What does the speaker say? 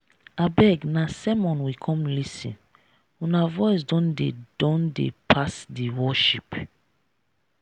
abeg na sermon we come lis ten una voice don dey don dey pass di worship.